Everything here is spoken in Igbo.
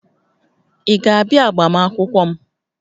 Ị ga-abịa agbamakwụkwọ m?